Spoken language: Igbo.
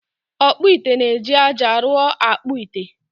Ọkpụ ite na-eji aja ụrọ akpụ ite